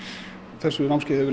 þessu námskeiði hefur